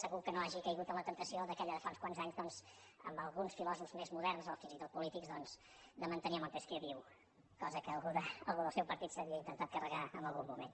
segur que no ha caigut en la temptació aquella de fa uns quants anys doncs amb alguns filòsofs més moderns o fins i tot polítics de mantenir montesquieu viu cosa que algú del seu partit s’havia intentat carregar en algun moment